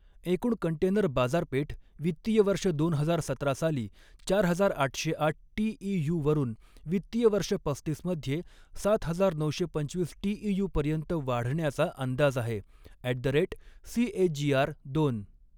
एकूण कंटेनर बाजारपेठ वित्तीय वर्ष दोन हजार सतरा साली चार हजार आठशे आठ टीईयूवरून वित्तीय वर्ष पस्तीस मध्ये सात हजार नऊशे पंचवीस टीईयूपर्यंत वाढण्याचा अंदाज आहे, ॲट द रेट सीएजीआर दोन.